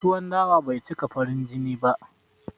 Tuwon dawa bai cika farin jini ba